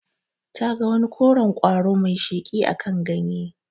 Ta ga wani koren ƙwaro mai sheƙi akan ganye.